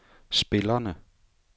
spillerne